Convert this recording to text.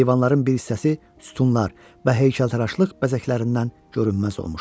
Eyvanların bir hissəsi sütunlar və heykəltaraşlıq bəzəklərindən görünməz olmuşdu.